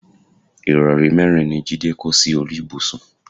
ìrọrí mẹ́rin ni Jídé kó sí orí ibùsùn